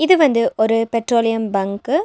இது வந்து ஒரு பெட்ரோலியம் பங்க்கு .